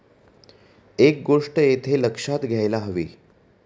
एक गोष्ट येथे लक्षात घ्यायला हवी.